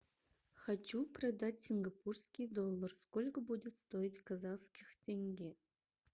хочу продать сингапурский доллар сколько будет стоить казахских тенге